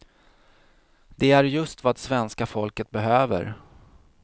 Det är just vad svenska folket behöver.